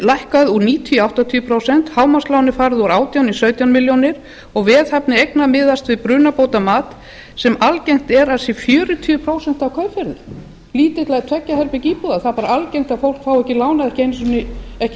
lækkað úr níutíu í áttatíu prósent hámarkslánið er farið úr átján í sautján milljónir og veðhæfni eigna miðast við brunabótamat sem algengt er að sé fjörutíu prósent af kaupverðinu lítillar tveggja herbergja íbúðar það er bara algengt að fólk fái ekki lánað ekki